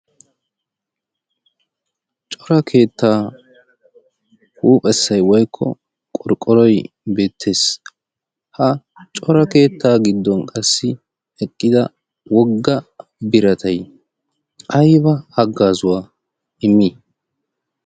cora keettaa huuphessa ywoykko qorqqoroy beettees ha cora keettaa giddon qassi eqqida wogga biratay ayba haggaazuwaa immi